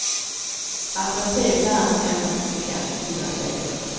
Alternativet är att endast skicka fyra tjejer.